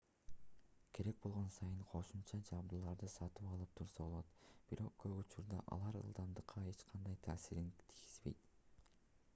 керек болгон сайын кошумча жабдууларды сатып алып турса болот бирок көп учурда алар ылдамдыкка эч кандай таасирин тийгизбейт